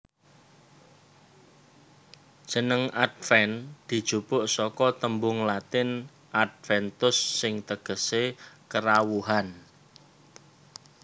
Jeneng Adven dijupuk saka tembung Latin Adventus sing tegesé Kerawuhan